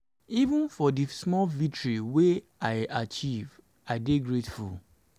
even for di small victories wey i achieve i dey grateful.